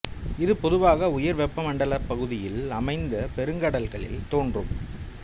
இது பொதுவாக உயர் வெப்பமண்டலப் பகுதியில் அமைந்த பெருங்கடல்களில் தோன்றும்